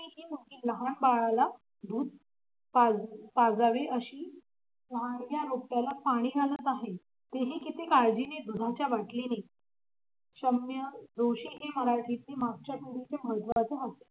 लहान बाळाला दूध पाजावे अशी लहानग्या रोपट्याला पाणी घालत आहे. तेही किती किती काळजीने दुधाच्या बाटलीने शम्य जोशी हे मराठीतील